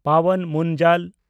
Pawan Munjal